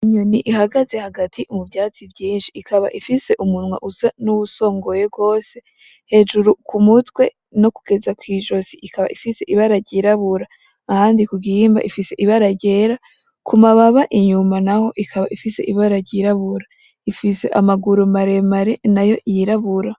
Inyoni ihagaze hagati mu vyatsi vyinshi, ikaba ifise umunwa usa n'uwusongoye gose, hejuru ku mutwe kugeza kwi zosi ikaba ifise ibara ryirabura; ahandi ku gihimba ifise ibara ryera, ku mababa inyuma naho ikaba ifise ibara ryirabura, ifise amaguru maremare nayo yirabura.